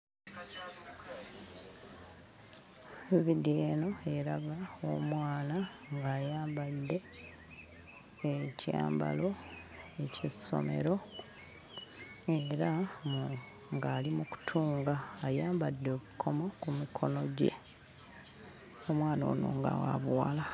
Evidiyo eno eraga omwana ng'ayambadde ekyambalo eky'essomero era mm ng'ali mu kutunga ayambadde obukomo ku mukono gye omwana ono nga wa buwala.